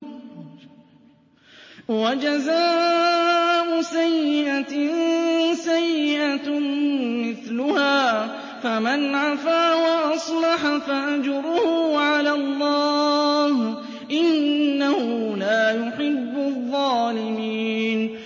وَجَزَاءُ سَيِّئَةٍ سَيِّئَةٌ مِّثْلُهَا ۖ فَمَنْ عَفَا وَأَصْلَحَ فَأَجْرُهُ عَلَى اللَّهِ ۚ إِنَّهُ لَا يُحِبُّ الظَّالِمِينَ